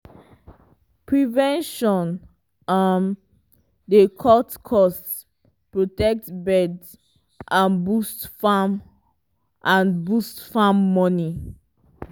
prevention um dey cut cost protect birds and boost farm and boost farm money.